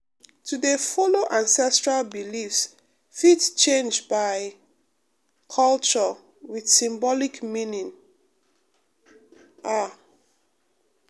to dey follow ancestral beliefs fit change by um culture with symbolic meaning um ah um